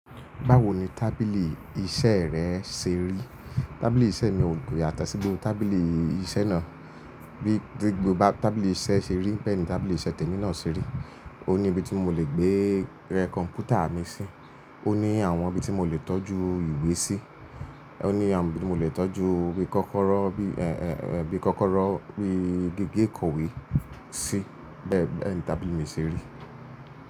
Báwo ni tábìlì iṣẹ́ rẹ ṣe rí? Tábìlì iṣẹ́ mi ò ko yátọ sí gbogbo tábìlì iṣẹ́ náà. Bí gbogbo tábìlì iṣẹ́ ṣe rí bẹ́ẹ̀ ni tábìlì iṣẹ́ tèmi náà ṣe rí. Ó ní ibi tí mo lè gbé kọ̀npútà mi sí, ó ní àwọn ibi tí mo lè tọ́jú ìwé sí, ó ní àwọn ibi tí mo lè tọ́jú bi kọ́kọ́rọ́ bí, ẹ́ẹ́, bí kọ́kọ́rọ́ wí gegé ìkòwé sí. Bẹ́ẹ̀ ni tábìlì mi ṣe rí.